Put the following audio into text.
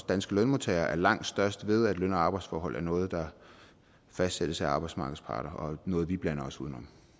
danske lønmodtagere er langt størst ved at løn og arbejdsforhold er noget der fastsættes af arbejdsmarkedets parter og noget vi blander os uden